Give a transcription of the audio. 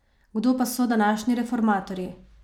Kdo pa so današnji reformatorji?